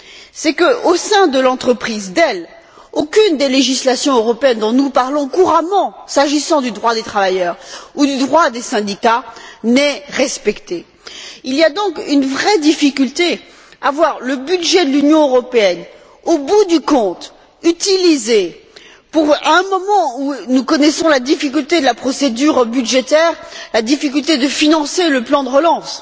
C'est qu'au sein de l'entreprise Dell, aucune des législations européennes dont nous parlons couramment, s'agissant du droit des travailleurs ou du droit des syndicats, n'est respectée. Il y a donc une vraie difficulté à voir le budget de l'Union européenne être utilisé, au bout du compte à un moment où nous connaissons la difficulté de la procédure budgétaire, la difficulté de financer le plan de relance